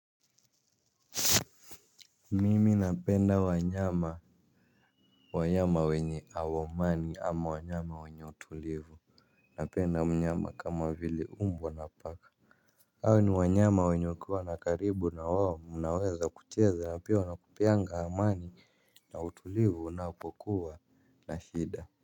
Mimi napenda wanyama, wanyama wenye hawaumani ama wanyama wenye utulivu. Napenda mnyama kama vile umbwa napaka hao ni wanyama wenye ukiwa na karibu na wao mnaweza kucheza na pia wanakupeanga amani na utulivu unapokuwa na shida.